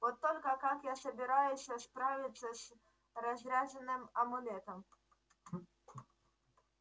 вот только как я собираюсь справиться с разряженным амулетом